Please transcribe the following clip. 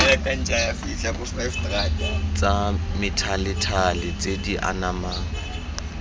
tsa methalethale tse di anamang